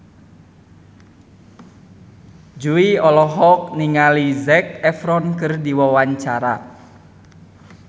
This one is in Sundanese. Jui olohok ningali Zac Efron keur diwawancara